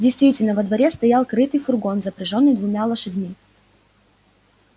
действительно во дворе стоял крытый фургон запряжённый двумя лошадьми